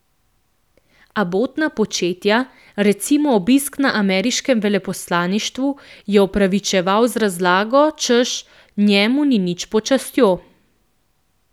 Abotna početja, recimo obisk na ameriškem veleposlaništvu, je opravičeval z razlago, češ, njemu ni nič pod častjo.